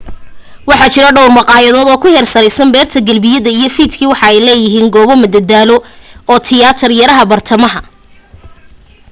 waxaa jiro dhowr maqaayad oo ku hareereysan beerta galbihi iyo fiidkiiba waxa ay leedahay goobo mada daalo ee tiyaatar yaraha bartamaha